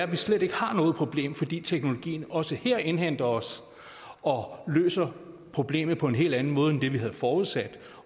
vi slet ikke har noget problem fordi teknologien også her indhenter os og løser problemet på en helt anden måde end det vi havde forudsat